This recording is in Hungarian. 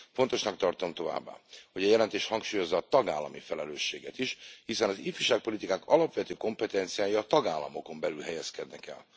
Fontosnak tartom továbbá, hogy a jelentés hangsúlyozza a tagállami felelősséget is, hiszen az ifjúságpolitikának alapvető kompetenciája a tagállamokon belül helyezkedik el.